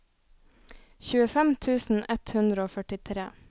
tjuefem tusen ett hundre og førtitre